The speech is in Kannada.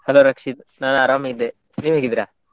Hello ರಕ್ಷಿತ್, ನಾನ್ ಆರಾಮ್ ಇದ್ದೆ, ನೀವ್ ಹೇಗಿದ್ದೀರಾ?